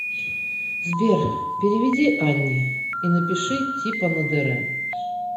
сбер переведи анне и напиши типа на др